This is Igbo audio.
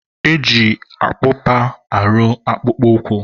e ji akpụkpa arụ akpụkpọ ụkwụ.